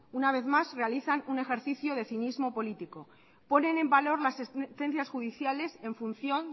una vez más realizan un ejercicio de cinismo político ponen en valor las sentencias judiciales en función